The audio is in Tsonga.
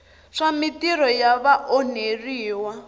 swa mintirho ya vaonheriwa va